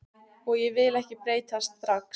Og ég vil ekki breytast strax.